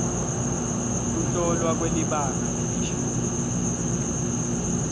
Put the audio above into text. kuhlolwa kwelibanga lelishumi